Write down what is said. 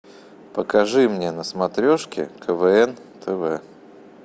покажи мне на смотрешке квн тв